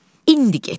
İndi get.